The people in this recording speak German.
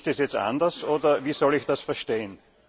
Ist das jetzt anders, oder wie soll ich das verstehen?